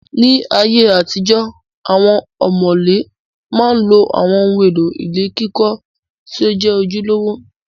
Ní ayé àtijọ, awọn ọ̀mọ̀lé ma ń lo àwọn ohun èlò ilé kíkọ́ tí ó jẹ́ ojúlówó